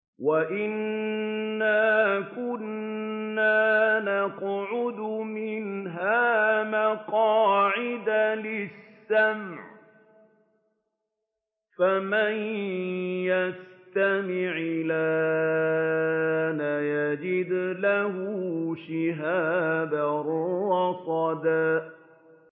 وَأَنَّا كُنَّا نَقْعُدُ مِنْهَا مَقَاعِدَ لِلسَّمْعِ ۖ فَمَن يَسْتَمِعِ الْآنَ يَجِدْ لَهُ شِهَابًا رَّصَدًا